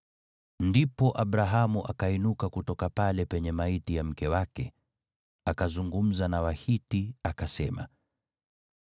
Ndipo Abrahamu akainuka kutoka pale penye maiti ya mke wake. Akazungumza na Wahiti, akasema,